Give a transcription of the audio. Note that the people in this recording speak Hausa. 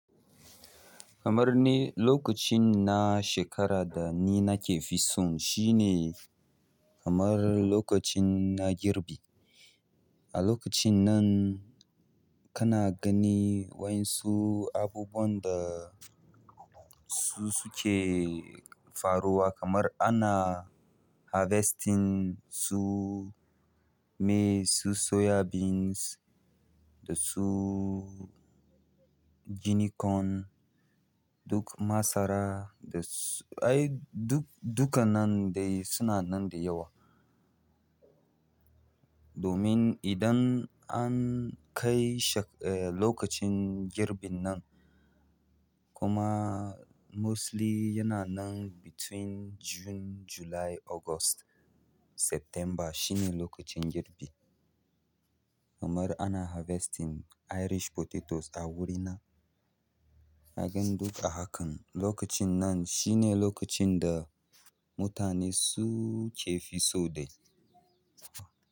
Kamar ni lokacin na shekara da ni nake fison shine kamar lokacin na girbi. A lokacin nan kana gani waen su abubuwan da su suke faruwa kamar ana harvesting su maize, su soya beans da su guinea corn duk masara da ai duk duka nan dai suna nan da yawa. Domin idan an kai lokacin girbin nan kuma mostly yana nan between June, July, August, September shine lokacin girbi. Kamar ana harvesting irish potatoes a wurina. Kagan duka hakan lokacin nan shine lokacin da mutane su ke fiso dai.